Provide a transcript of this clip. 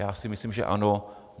Já si myslím, že ano.